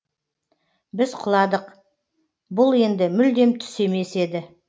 біз құладық бұл енді мүлдем түс емес еді